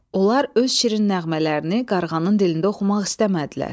Onlar öz şirin nəğmələrini qarğanın dilində oxumaq istəmədilər.